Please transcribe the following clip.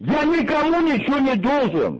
я никому ничего не должен